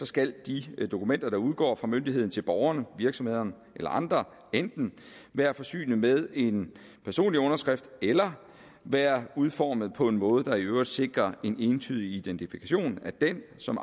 skal de dokumenter der udgår fra myndigheden til borgerne virksomhederne eller andre enten være forsynet med en personlig underskrift eller være udformet på en måde der i øvrigt sikrer en entydig identifikation af den som